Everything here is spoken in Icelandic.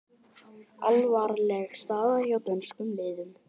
Alvarleg staða hjá dönskum liðum